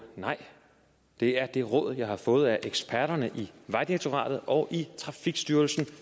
nej det er de råd jeg har fået af eksperterne i vejdirektoratet og i trafikstyrelsen